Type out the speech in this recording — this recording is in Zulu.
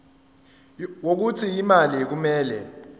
wokuthi imali kumele